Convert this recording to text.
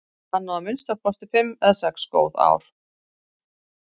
Hann á að minnsta kosti fimm eða sex góð ár.